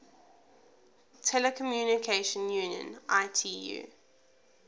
telecommunication union itu